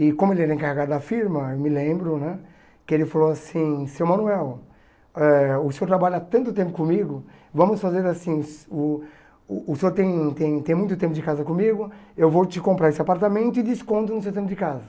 E como ele era encarregado da firma, eu me lembro né que ele falou assim, seu Manuel, eh o senhor trabalha tanto tempo comigo, vamos fazer assim, uh o o senhor tem tem tem muito tempo de casa comigo, eu vou te comprar esse apartamento e desconto no seu tempo de casa.